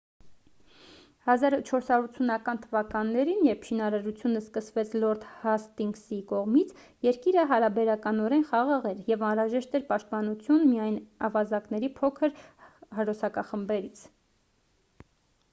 1480-ական թվականներին երբ շինարարությունը սկսվեց լորդ հաստինգսի կողմից երկիրը հարաբերականորեն խաղաղ էր և անհրաժեշտ էր պաշտպանություն միայն ավազակների փոքր հրոսակախմբերից